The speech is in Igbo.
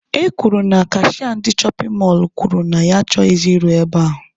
E kwuru na kashịa ndị shọpin mọlụ kwuru na ya achọghịzị ịrụ e ahụ